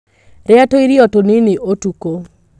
Rĩa tũirio tũnini ũtuko.